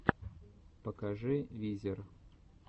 покажи визер